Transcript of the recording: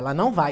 Ela não vai.